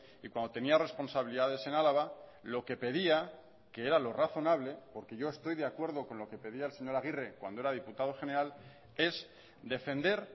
y cuando tenía responsabilidades en álava lo que pedía que era lo razonable porque yo estoy de acuerdo con lo que pedía el señor aguirre cuando era diputado general es defender